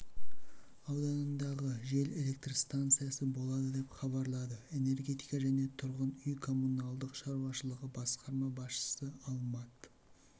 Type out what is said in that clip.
ауданындағы жел электр станциясы болады деп хабарлады энергетика және тұрғын үй-коммуналдық шаруашылығы басқарма басшысы алмат